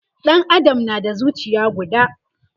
Ɗan Adam na da zucia guda